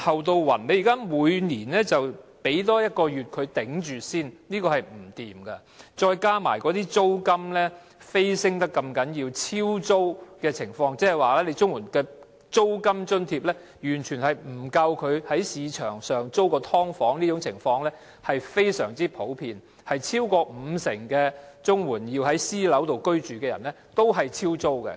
政府現在每年發放額外1個月的金額，讓他們勉強支撐生活，這是不行的；再加上租金飆升，"超租"的情況，亦即綜援的租金津貼完全不足夠在市場上租住"劏房"的情況非常普遍，超過五成領取綜援而要在私樓居住的人都是"超租"的。